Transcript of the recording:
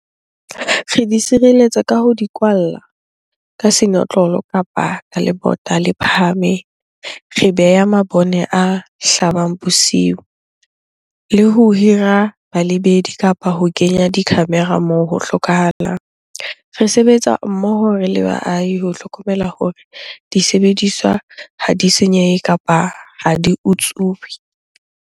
Re di sireletsa ka ho di kwalla ka senotlolo kapa ka lebota le phahameng. Re beha mabone a hlabang bosiu le ho hira balebedi kapa ho kenya di-camera moo ho hlokahalang. Re sebetsa mmoho re le baahi ho hlokomela hore disebediswa ha di senyehe kapa ha di utsuwe.